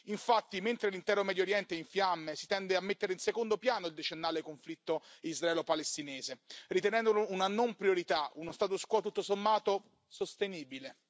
Infatti, mentre l'intero Medio Oriente è in fiamme, si tende a mettere in secondo piano il decennale conflitto israelo palestinese, ritenendolo una non priorità, uno status quo tutto sommato sostenibile.